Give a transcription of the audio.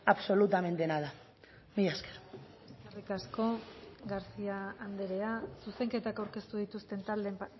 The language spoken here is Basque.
absolutamente nada mila esker eskerrik asko garcía andrea zuzenketak aurkeztu dituzten taldeen